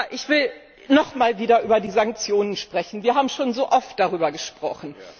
Ich will noch einmal wieder über die Sanktionen sprechen Wir haben schon so oft darüber gesprochen.